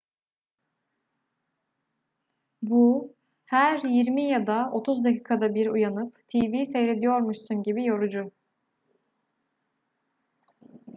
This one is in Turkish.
bu her yirmi ya da otuz dakikada bir uyanıp tv seyrediyormuşsun gibi yorucu